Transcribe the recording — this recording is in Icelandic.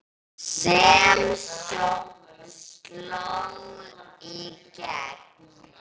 sem sló í gegn.